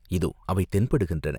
இதோ அவை தென்படுகின்றன.